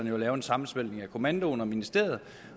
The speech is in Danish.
jo at lave en sammensmeltning af kommandoen og ministeriet